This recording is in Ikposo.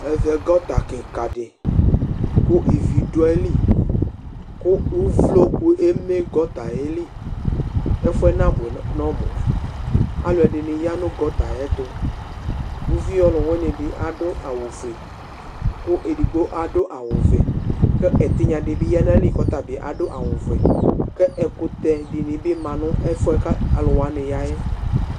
Evɛ gɔta kikadi ku uvloku eme gotayeli ɛfuye nabue nɔmu aluɛdini ya nu gatayɛtu uvi ɔluwinidi adu awu fue ku edigbo adu awu fue ku etinya dibi duayili kadu awu vɛ k 'ekute dinibi ma n' ɛfuɛ aluwani yayɛ